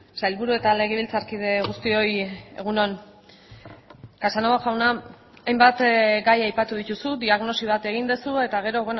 sailburu eta legebiltzarkide guztioi egun on casanova jauna hainbat gai aipatu dituzu diagnosi bat egin duzu eta gero